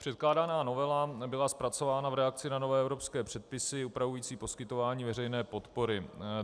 Předkládaná novela byla zpracována v reakci na nové evropské předpisy upravující poskytování veřejné podpory.